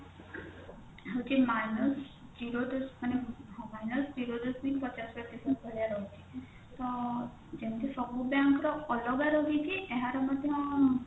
ହଉଛି minus zero ଦଶ ମାନେ minus zero ଦଶମିକ ପଚାଶ ପ୍ରତଶତ ଭଳିଆ ରହୁଛି ତ ଯେମତି ସବୁ bank ର ଅଲଗା ଅଲଗା ହେଇକି ଯାହାର ମଧ୍ୟ